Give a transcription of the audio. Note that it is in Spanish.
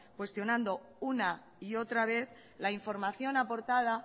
cuestionando una y otra vez la información aportada